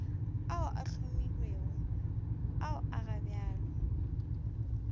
ao a hlomilwego ao gabjale